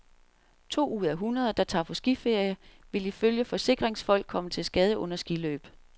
To ud af hundrede, der tager på skiferie, vil ifølge forsikringsfolk komme til skade under skiløb.